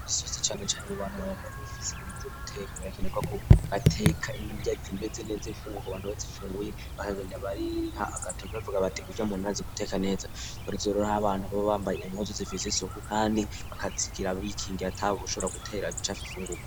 Isosi canecane mu bantu baba bafise ibintu vyo guteka birakenerwa ko bateka inrya zimeze neza, imfungurwa abantu bazifunguye bakagenda bariha agatoke bavuga bati urya muntu arazi guteka neza, uretse ko abo bantu baba bambaye impuzu zifise isuku kandi bakazigira bikingi atawushobora gutera ibicafu ibifungurwa.